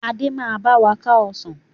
Adé máa báwa ká Ọsàn